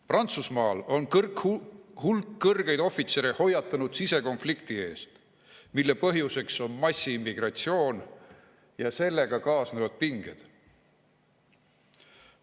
Prantsusmaal on hulk kõrgeid ohvitsere hoiatanud sisekonflikti eest, mille põhjuseks on massiimmigratsioon ja sellega kaasnevad pinged.